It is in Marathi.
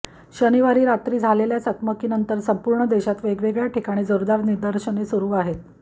शनिवारी रात्री झालेल्या चकमकीनंतर संपूर्ण देशात वेगवेगळ्या ठिकाणी जोरदार निदर्शने सुरू आहेत